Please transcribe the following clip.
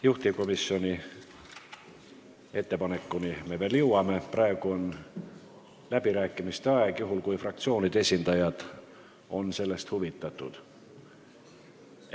Juhtivkomisjoni ettepanekuni me veel jõuame, praegu on läbirääkimiste aeg, juhul kui fraktsioonide esindajad on huvitatud sõna võtma.